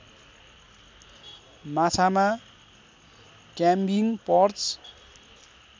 माछामा क्याइम्बिङ पर्च